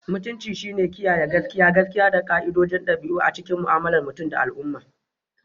Mutunci shine kiyaye gaskiya, gaskiya, da ƙa'idodin ɗabi'a a cikin mu'amalar mutum da al'umma.